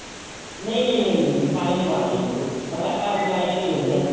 ਨਹੀਂ ਨਹੀਂ ਨਹੀਂ ਪਾਣੀ ਨੀ ਪਾਉਣਾ ਹੈਗਾ ਬਿਲਕੁਲ ਵੀ ਬੱਸ ਆਟਾ ਮਲਾਈ ਨਾਲ ਹੀ ਗੁੰਨਨਾ ਹੈ ਜੀ